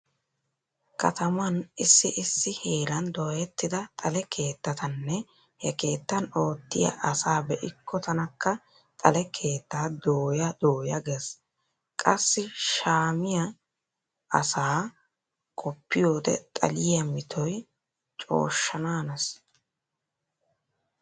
Kataman issi issi heeran dooyettida xale keettatanne he keettan oottiya asa be'ikko tanakka xale keettaa dooya dooya gees. Qassi shammiya asaa qoppiyode xaliya mitoy cooshshanaanees.